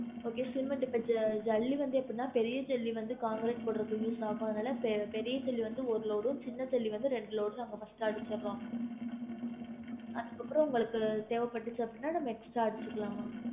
Okay cement இப்ப ஜல்லி வந்து எப்டினா பெரிய ஜல்லி வந்து concrete போடுறதுக்கு use ஆகும் அதனால பெ~ பெரிய ஜல்லி வந்து ஒரு load உம் சின்ன ஜல்லி வந்து ரெண்டு load உம் first அடிச்சிருறோம் அதுக்கு அப்ரோ உங்களுக்கு தேவைபட்டுச்சி அப்பிடின்னா நம்ம extra அடிச்சிக்கலாம்மா